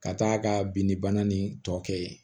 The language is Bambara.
Ka taa ka bin bana nin tɔ kɛ yen